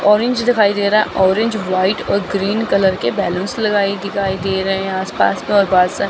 orange दिखाई दे रहा है औरेंज व्हाइट और ग्रीन कलर के बैलूनस लगाए दिखाई दे रहे हैं आसपास मे और बहोत सारे--